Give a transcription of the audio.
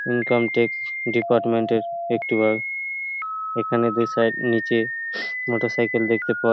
income tax department -এর একটি bike এখানে নিচে মোটরসাইকেল দেখতে পাওয়া--